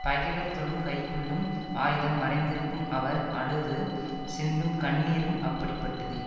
பகைவர் தொழும் கைக்குள்ளும் ஆயுதம் மறைந்திருக்கும் அவர் அழுது சிந்தும் கண்ணீரும் அப்படிப்பட்டதே